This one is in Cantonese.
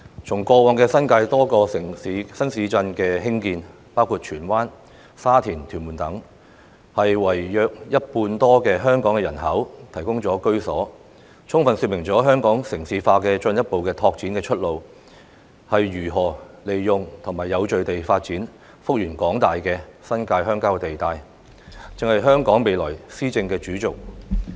從過往新界多個新市鎮的興建，包括荃灣、沙田及屯門等，為約一半多的香港人口提供了居所，充分說明了香港城市化進一步拓展的出路，便是如何利用及有序地發展幅員廣大的新界鄉郊地帶，這就是香港未來的施政主軸。